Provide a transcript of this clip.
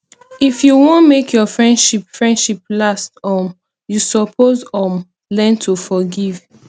if you wan make your friendship friendship last um you suppose um learn to forgive